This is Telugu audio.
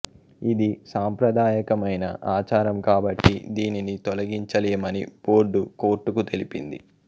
ఇది సాంప్రదాయకమైన ఆచారం కాబట్టి దీనిని తొలగించలేమని బోర్డు కోర్టుకు తెలిపింది